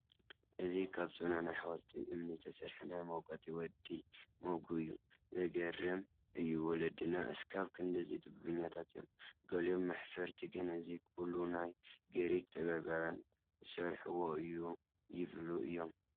እዚ ካብ ፅኑዕ ናይ ሓወልቲ እምኒ ዝተሰርሐ ናይ መውቀጢ ወዲ ሞግእ እዩ፡፡ ዘግርም እዩ ወለድና እስካብ ክንድዚ ጥበበኛታት እዮም፡፡ ገሊኦም መሕፈርቲ ግን እዚ ኩሉ ናይ ግሪክ ጠቢባን ዝሰርሕዎ እዩ ይብሉ እዮም፡፡